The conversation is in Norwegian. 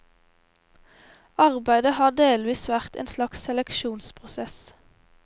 Arbeidet har delvis vært en slags seleksjonsprosess.